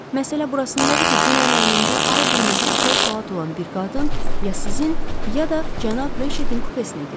Məsələ burasındadır ki, dünən əynində al-qırmızı ipək xalat olan bir qadın ya sizin, ya da cənab Reçetin kupesinə girib.